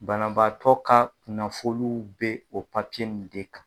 Banabaatɔ ka kunnafoniw be o in de kan.